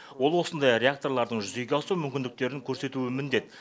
ол осындай реакторлардың жүзеге асу мүмкіндіктерін көрсетуі міндет